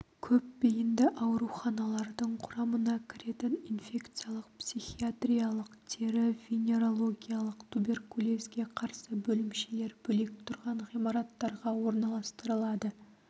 көп бейінді ауруханалардың құрамына кіретін инфекциялық психиатриялық тері-венерологиялық туберкулезге қарсы бөлімшелер бөлек тұрған ғимараттарға орналастырылады